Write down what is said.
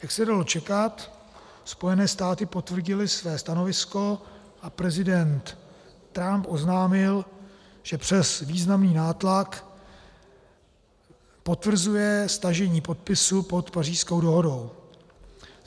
Jak se dalo čekat, Spojené státy potvrdily své stanovisko a prezident Trump oznámil, že přes významný nátlak potvrzuje stažení podpisu pod Pařížskou dohodou.